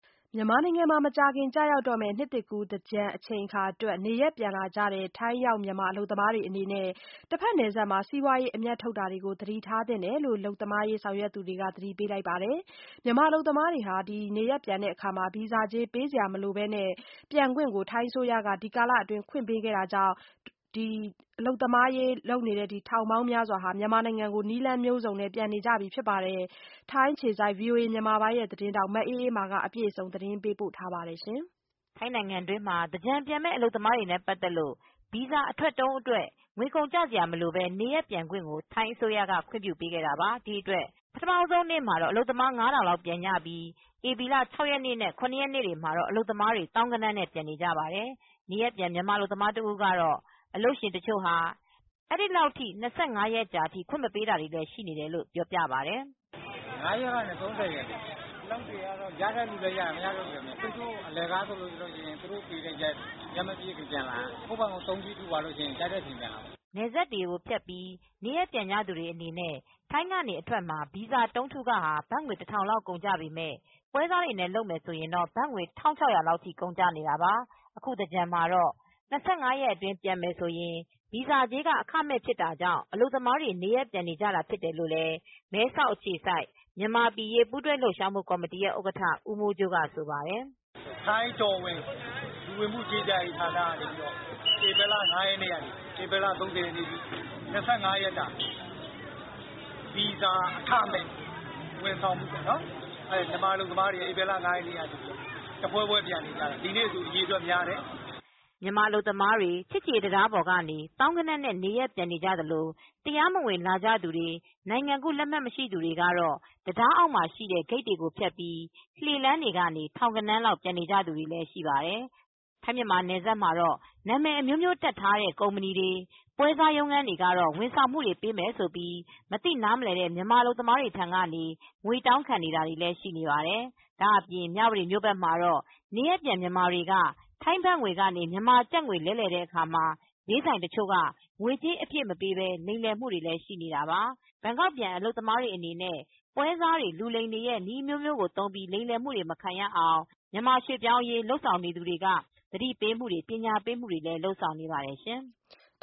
မြန်မာနိုင်ငံမှာ မကြာခင် ကျရောက်တော့မယ့် နှစ်သစ်ကူး သင်္ကြန်အချိန်အခါတွက် နေရပ်ပြန်လာကြတဲ့ ထိုင်းရောက် မြန်မာအလုပ်သမား တွေအနေနဲ့ တဘက်နယ်စပ်မှာ စီးပွားရေး အမြတ်ထုတ်မှုတွေ သတိထားသင့်တယ်လို့ အလုပ်သမားရေး ဆောင်ရွက်နေသူတွေက သတိပေး လိုက်ပါတယ်။ မြန်မာ အလုပ်သမားတွေကို ဗီဇာကြေး ပေးစရာမလိုပဲ နေရပ်ပြန်ဖို့ ထိုင်းအစိုးရက ဒီကာလအတွင်း ခွင့်ပေးခဲ့တာကြောင့် ရွှေ့ပြောင်းအလုပ်သမား ထောင်ပေါင်းများစွာ မြန်မာနိုင်ငံကို နည်းလမ်းမျိုးစုံနဲ့ ပြန်နေကြပြီ ဖြစ်ပါတယ်။ ထိုင်းအခြေစိုက် ဗွီအိုအေမြန်မာပိုင်း သတင်းထောက် မအေးအေးမာ သတင်းပေးပို့ ထားပါတယ်။ ထိုင်းနိုင်ငံတွင်းမှာ သင်္ကြန်ကာလ နေရပ်ပြန်ကြမယ့် အလုပ်သမားတွေနဲ့ ပတ်သက်လို့ ဗီဇာ အထွက်တုံးအတွက် ငွေကုန်ကျစရာမလိုပဲ နေရပ်ပြန်ခွင့် ထိုင်းအစိုးရက ခွင့်ပြုပေးခဲ့တာပါ။ ဒီအတွက် ပထမဦးဆုံးနေ့မှာတော့ အလုပ်သမား ၅ ထောင်လောက် ပြန်နေကြပြီး ဧပြီလ ၆ ရက်နဲ့ ၇ ရက်နေ့တွေမှာတော့ အလုပ်သမားတွေ သောင်းဂဏန်းနဲ့ ပြန်နေပါတယ်။ နေရပ်ပြန် မြန်မာအလုပ်သမား တဦးကတော့ တချို့ အလုပ်ရှင်တွေက အဲဒီလောက် ၂၅ ရက်ကြာအထိ ခွင့်မပေးတာ တွေ့ရတယ်လို့ ဆိုပါတယ်။ “ ၅ ရက်ကနေ ၃၀ရက်နေ့ထိ အလုပ်တွေက ခွင့်တွေလည်း ရတဲ့သူလည်းရတယ်။ မရတဲ့သူလည်း မရဘူး။ အလကား ဆိုလို့ရှိရင်တော့ သူတို့ပေးတဲ့ရက်ထိပဲ ပြန်လာရမယ်။ ကိုယ့်ဖာသာ တုံးကြီးထုသွားမယ်ဆိုရင်တော့ ကြိုက်တဲ့ရက် ပြန်လာလို့ရတယ်။” နယ်စပ်ကိုဖြတ်ပြီး နေရပ်ပြန်ကြသူတွေအနေနဲ့ ထိုင်းကနေ အထွက်မှာ ဗီဇာတုံးထုခ ဘတ်ငွေ လောက် ကုန်ကျပေမယ့် ပွဲစားတွေနဲ့ လုပ်မယ်ဆိုရင် ဘတ်ငွေ ထိ ကုန်ကျတာပါ။ အခုသင်္ကြန်မှာတော့ ၂၅ ရက်အတွင်း ပြန်မယ်ဆိုရင် ဗီဇာကြေးက အခမဲ့ ဖြစ်တာကြောင့် အလုပ်သမားတွေ နေရပ်ပြန်နေကြတာ ဖြစ်တယ်လို့မဲဆောက်အခြေစိုက် မြန်မာအရေး ပူးတွဲလှုပ်ရှားမူကော်မတီ ဥက္ကဌ ဦးမိုးကြိုးက ပြောပါတယ်။ “ထိုင်းတော်ဝင် လူဝင်မှုကြီးကြပ်ရေး ဌာနကနေ ဧပြီလ ၅ ရက်နေ့ကနေ ၃၀ ရက်နေ့အထိ ဗီဇာအခမဲ့ ဝန်ဆောင်မှုပေးတယ်။ မြန်မာ အလုပ်သမားတွေက ဧပြီလ ၅ ရက်နေ့ကစလို့ တဖွဲဖွဲပြန်နေကြတယ်။ ဒီနေ့ဆို အရေအတွက် များတယ်” မြန်မာအလုပ်သမားတွေ ချစ်ကြည်ရေးတံတားပေါ်ကနေ သောင်းဂဏန်းနဲ့ချီ နေရပ်ပြန်နေကြသလို တရားမဝင် လာကြသူတွေ၊ နိုင်ငံကူးလက်မှတ် မရှိသူတွေကတော့ တံတားအောက်မှာရှိတဲ့ ဂိတ်တွေကိုဖြတ်ပြီး လှေလမ်းကနေ ထောင်ဂဏန်းလောက် ပြန်နေကြ သူတွေလည်း ရှိကြပါတယ်။ ထိုင်းမြန်မာ နယ်စပ်မှာတော့ နာမည်အမျိုးမျိုးတပ်ထားတဲ့ ကုမ္ပဏီတွေ၊ ပွဲစားရုံးခန်းတွေကတော့ ဝန်ဆောင်မှု ပေးမယ်ဆိုပြီး မသိနားမလည်တဲ့ မြန်မာအလုပ်သမားတွေ ထံကနေ ငွေတောင်းခံ နေတာတွေလည်း ရှိပါတယ်။ ဒါ့အပြင် မြဝတီမြို့မှာတော့ နေရပ်ပြန် မြန်မာတွေက ထိုင်းဘတ်ငွေကနေ မြန်မာကျပ်ငွေ လဲလှယ်တဲ့အခါ ဈေးဆိုင်တချို့က ငွေကြေး အပြည့်မပေးပဲ လိမ်လည်မှုတွေလဲ ရှိနေတာပါ။ ဘန်ကောက်ပြန် အလုပ်သမားတွေအနေနဲ့ ပွဲစားတွေ လူလိမ်တွေရဲ့ နည်းအမျိုးမျိုးသုံးပြီး လိမ်လည်မှုတွေ မခံရအောင် မြန်မာရွှေ့ပြောင်းအလုပ်သမားရေး လုပ်ဆောင်နေသူတွေက သတိပေးတာ၊ ပညာပေးတာတွေကို လုပ်ဆောင်နေပါတယ်ရှင်။